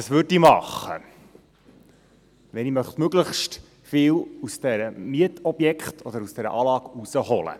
Was würde ich machen, wenn ich möglichst viel aus dem Mietobjekt oder aus dieser Anlage herausholen wollte?